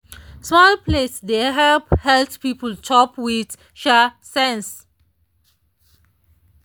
small plate dey help health people chop with um sense.